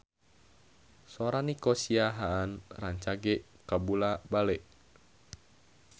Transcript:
Sora Nico Siahaan rancage kabula-bale